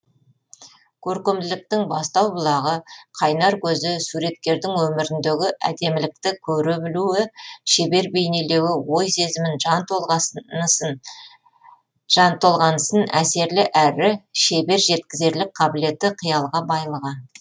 көркемділіктің бастау бұлағы қайнар көзі суреткердің өміріндегі әдемілікті көре білуі шебер бейнелеуі ой сезімін жан толғанысын әсерлі әрі шебер жеткізерлік қабілеті қиялға байлығы